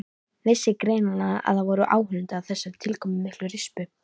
Vissi greinilega að það voru áhorfendur að þessari tilkomumiklu rispu.